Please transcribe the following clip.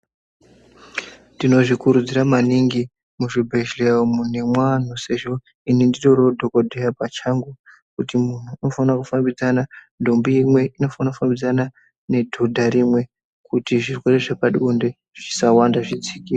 Tinozvikurudzira maningi muzvibhedhlera umwu nemuanhu sezvo ini nditoriwo dhogodheya pachangu kuti munhu unofanira kufambidzana ntombi imwe inofanira kufambidzana nedhodha rimwe kuti zvirwere zvepabonde zvisawanda zvidzikire.